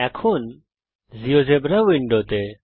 এখন জীয়োজেব্রা উইন্ডোতে